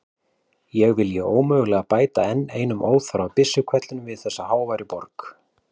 Ég vilji ómögulega bæta enn einum óþarfa byssuhvellinum við þessa háværu borg.